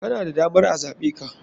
Kana da damar a zaɓeka.